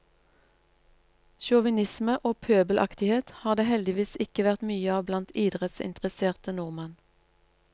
Sjåvinisme og pøbelaktighet har det heldigvis ikke vært mye av blant idrettsinteresserte nordmenn.